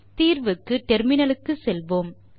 தீர்வுக்கு டெர்மினலுக்கு செல்வோம்